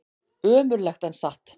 Ömurlegt en satt.